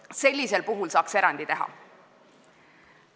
Nii et sellisel puhul saaks erandi teha.